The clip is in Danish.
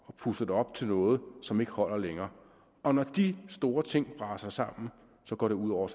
og puster det op til noget som ikke holder længere og når de store ting braser sammen går det ud over